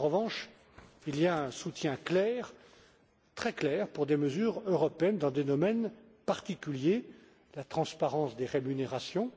En revanche, il y a un soutien clair, très clair pour des mesures européennes dans des domaines particuliers la transparence des rémunérations,